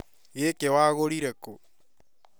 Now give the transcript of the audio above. Gĩkĩ wagũrire kũ?